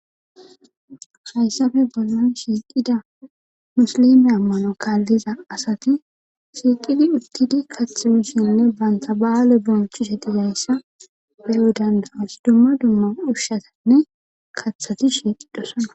hayssafe bollon shiiqida musilime ammano kaalliza asati shiiqidi uttidi kathimushinne bantha ba7aale bonchu shetizayssa heyodandaas dumma dumma ushshatanne kathati shiidhosana